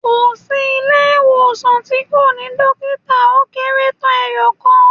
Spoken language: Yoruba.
Kò sí ilé ìwòsàn tí kò ní Dókítà ó kérétán eeyòkan